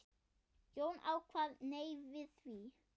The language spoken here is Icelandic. Jón kvað nei við því.